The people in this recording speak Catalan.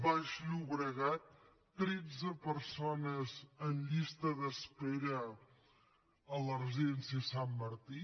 baix llobregat tretze persones en llista d’espera a la residència sant martí